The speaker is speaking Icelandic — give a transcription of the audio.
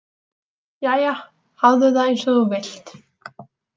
Jæja, hafðu það einsog þú vilt